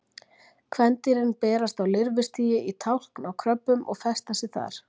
Kvendýrin berast á lirfustigi í tálkn á kröbbum og festa sig þar.